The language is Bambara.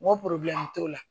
N ko t'o la